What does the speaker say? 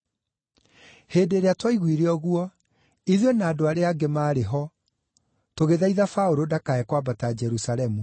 Hĩndĩ ĩrĩa twaiguire ũguo, ithuĩ na andũ arĩa angĩ maarĩ ho tũgĩthaitha Paũlũ ndakae kwambata Jerusalemu.